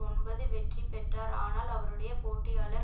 ஒன்பது வெற்றிபெற்றார் ஆனால் அவருடைய போட்டியாளர்